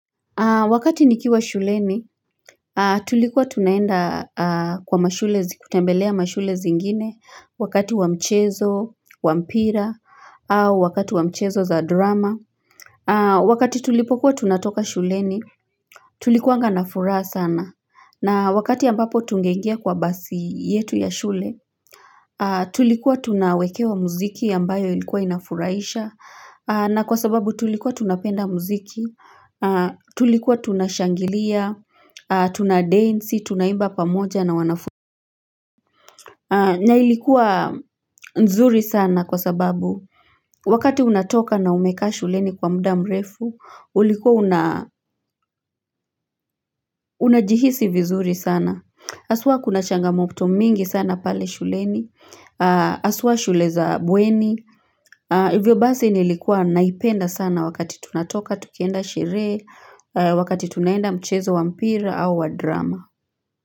Wakati nikiwa shuleni, tulikuwa tunaenda kwa mashulezi, kutembelea mashule zingine, wakati wa mchezo, wa mpira, au wakati wa mchezo za drama. Wakati tulipokuwa tunatoka shuleni, tulikuwanga na furaa sana. Na wakati ambapo tunge ingia kwa basi yetu ya shule, tulikuwa tunawekewa muziki ambayo ilikuwa inafuraisha. Na kwa sababu tulikuwa tunapenda muziki, tulikuwa tunashangilia, tunadance, tunaimba pamoja na wanafu. Na ilikuwa nzuri sana kwa sababu wakati unatoka na umeka shuleni kwa mda mrefu, ulikuwa unajihisi vizuri sana. Haswa kuna changamopto mingi sana pale shuleni, haswa shule za bueni. Hivyo basi nilikuwa naipenda sana wakati tunatoka, tukienda shere, wakati tunaenda mchezo wa mpira au wa drama.